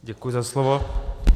Děkuji za slovo.